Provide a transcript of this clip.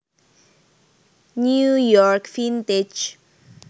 New York Vintage